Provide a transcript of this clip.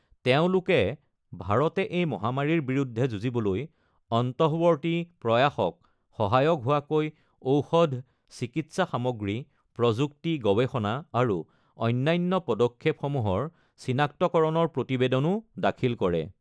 তেওঁলোকে ভাৰতে এই মহামাৰীৰ বিৰুদ্ধে যুঁজিবলৈ অন্তঃৱৰ্তী প্ৰয়াসত সহায়ক হোৱাকৈ ঔষধ, চিকিৎসা সামগ্ৰী, প্ৰযুক্তি, গৱেষণা আৰু অন্যান্য পদক্ষেপসমূহৰ চিনাক্তকৰণৰ প্ৰতিবেদনো দাখিল কৰে।